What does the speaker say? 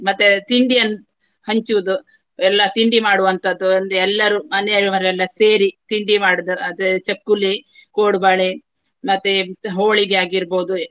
ಮತ್ತೆ ತಿಂಡಿಯನ್ನು ಹಂಚುವುದು ಎಲ್ಲಾ ತಿಂಡಿ ಮಾಡುವಂತಹದ್ದು. ಒಂದು ಎಲ್ಲರೂ ಮನೆಯವರೆಲ್ಲ ಸೇರಿ ತಿಂಡಿ ಮಾಡುವುದು ಅದೇ ಚಕ್ಕುಲಿ, ಕೋಡುಬಳೆ ಮತ್ತೆ ಹೋಳಿಗೆ ಆಗಿರ್ಬಹುದು.